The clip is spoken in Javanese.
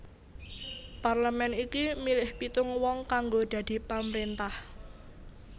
Parlemen iki milih pitung wong kanggo dadi pamrintah